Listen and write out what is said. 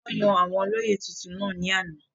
wọ́n yan àwọn olóyè tuntun náà ní àná